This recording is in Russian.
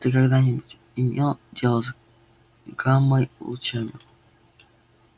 ты когда-нибудь имел дело с гаммой лучами